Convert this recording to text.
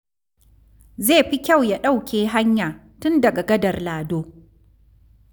Zai fi kyau ya ɗauke hanya tun daga Gadar Lado.